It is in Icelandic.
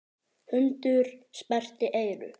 Hundur sperrti eyru.